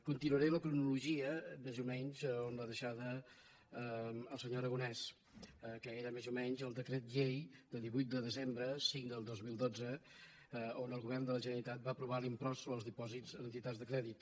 continuaré la cronologia més o menys on l’ha deixada el senyor aragonès que era més o menys el decret llei de divuit de desembre cinc dos mil dotze on el govern de la generalitat va aprovar l’impost sobre els dipòsits en entitats de crèdit